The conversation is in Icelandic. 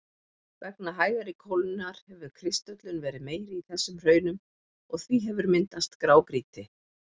Vegna hægari kólnunar hefur kristöllun verið meiri í þessum hraunum og því hefur myndast grágrýti.